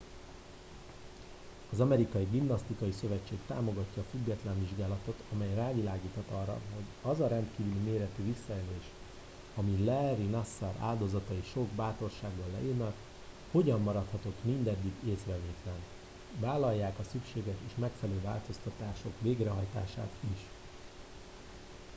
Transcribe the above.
az amerikai gimnasztikai szövetség támogatja a független vizsgálatot amely rávilágíthat arra hogy az a rendkívüli mértékű visszaélés amit larry nassar áldozatai sok bátorsággal leírnak hogyan maradhatott mindeddig észrevétlen vállalják a szükséges és megfelelő változtatások végrehajtását is